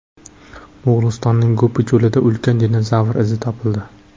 Mo‘g‘ulistonning Gobi cho‘lida ulkan dinozavr izi topildi.